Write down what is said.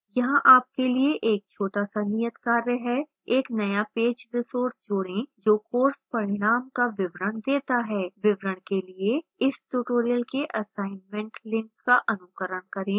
यहाँ आपके लिए एक छोटा सा नियतकार्य है